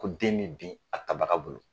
Ko den mi bin a tabaga bolo.